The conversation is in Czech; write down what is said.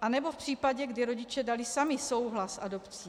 anebo v případě, kdy rodiče dali sami souhlas s adopcí.